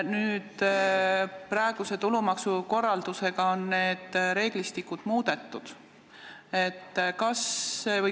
Praeguse tulumaksukorraldusega on seda reeglistikku muudetud.